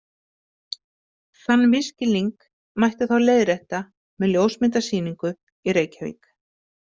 Þann misskilning mætti þá leiðrétta með ljósmyndasýningu í Reykjavík.